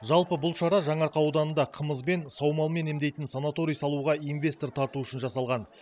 жалпы бұл шара жаңаарқа ауданында қымызбен саумалмен емдейтін санаторий салуға инвестор тарту үшін жасалған